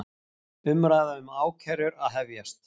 Umræða um ákærur að hefjast